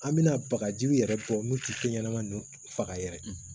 An bɛna bagaji yɛrɛ bɔ min tɛ fɛn ɲɛnama ninnu faga yɛrɛ